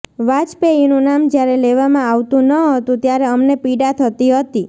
વાજપેયીનું નામ જ્યારે લેવામાં આવતું ન હતું ત્યારે અમને પીડા થતી હતી